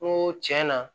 N ko tiɲɛ na